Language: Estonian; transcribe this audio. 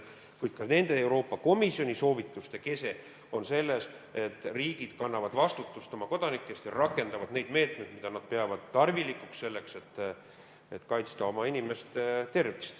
Kuid ka nende Euroopa Komisjoni soovituste kese on selles, et riigid kannavad vastutust oma kodanike eest ja rakendavad neid meetmeid, mida nad peavad tarvilikuks selleks, et kaitsta oma inimeste tervist.